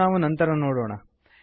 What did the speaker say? ಇದನ್ನು ನಾವು ನಂತರ ನೋಡೋಣ